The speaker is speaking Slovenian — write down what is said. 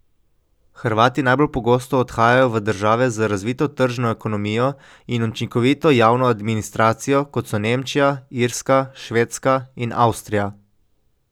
Hrvati najbolj pogosto odhajajo v države z razvito tržno ekonomijo in učinkovito javno administracijo, kot so Nemčija, Irska, Švedska in Avstrija.